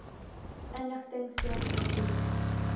inligting soos versoek